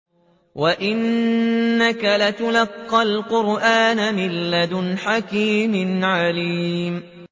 وَإِنَّكَ لَتُلَقَّى الْقُرْآنَ مِن لَّدُنْ حَكِيمٍ عَلِيمٍ